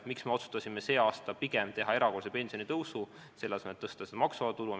Miks me otsustasime see aasta pigem teha erakorralise pensionitõusu, selle asemel et tõsta maksuvaba tulu?